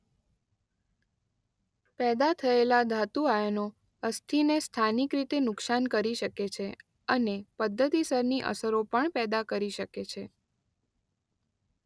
પેદા થયેલા ધાતુ આયનો અસ્થિને સ્થાનિક રીતે નુકસાન કરી શકે છે અને પદ્ધતિસરની અસરો પણ પેદા કરી શકે છે.